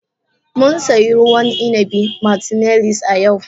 Mun sayi ruwan inabi martineliss a yau.